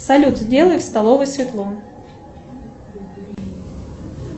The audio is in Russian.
салют сделай в столовой светло